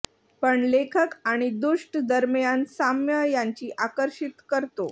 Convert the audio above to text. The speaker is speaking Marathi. पण लेखक आणि दुष्ट दरम्यान साम्य यांची आकर्षित करतो